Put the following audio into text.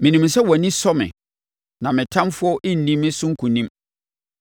Menim sɛ wʼani sɔ me, na me ɔtamfoɔ renni me so nkonim.